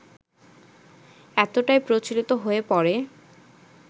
এতটাই প্রচলিত হয়ে পড়ে